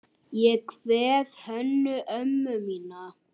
Ég kveð Hönnu ömmu mína.